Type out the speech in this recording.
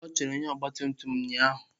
Ọ chọrọ onye ọgba tum tum ụnyaahụ.